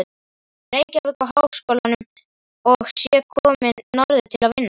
Reykjavík og Háskólanum og sé komin norður til að vinna.